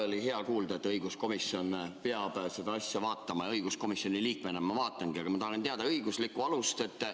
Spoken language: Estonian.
Oli hea kuulda, et õiguskomisjon peab seda asja vaatama, ja õiguskomisjoni liikmena ma vaatangi, aga ma tahan teada õiguslikku alust.